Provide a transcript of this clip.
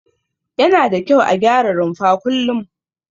Yana da kyau a gyara rumfa kullum.